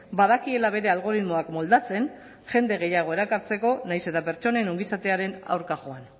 badakiela bere algoritmoak moldatzen jende gehiago erakartzeko nahiz eta pertsonen ongizatearen aurka joan